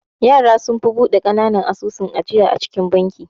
Yara sunfi bude kananan asusun ajiya a cikin banki.